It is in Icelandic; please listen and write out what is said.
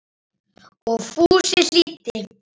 Og Fúsi hlýddi.